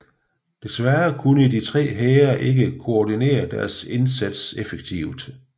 Desværre kunne de tre hære ikke koordinere deres indsats effektivt